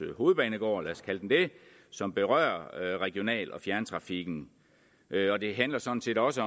hovedbanegård lad os kalde den det som berører regional og fjerntrafikken og det handler sådan set også